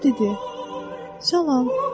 O dedi: "Salam!"